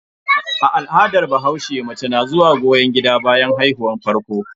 A al'adar bahaushe, mace na zuwa goyon gida bayan haihuwar farko.